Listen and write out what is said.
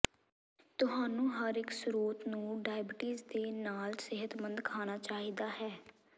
ਤੁਹਾਨੂੰ ਹਰੇਕ ਸਰੋਤ ਨੂੰ ਡਾਇਬੀਟੀਜ਼ ਦੇ ਨਾਲ ਸਿਹਤਮੰਦ ਖਾਣਾ ਚਾਹੀਦਾ ਹੈ